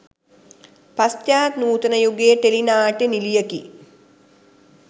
පශ්චාත් නූතන යුගයේ ටෙලි නාට්‍ය නිලියකි.